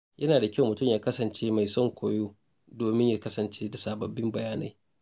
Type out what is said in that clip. Yana da kyau mutum ya kasance mai son koyo domin ya kasance da sababbin bayanai.